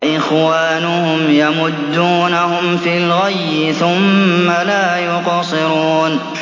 وَإِخْوَانُهُمْ يَمُدُّونَهُمْ فِي الْغَيِّ ثُمَّ لَا يُقْصِرُونَ